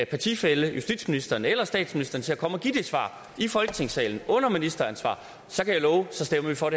partifæller justitsministeren eller statsministeren til at komme og give svaret i folketingssalen under ministeransvar så kan jeg love at så stemmer vi for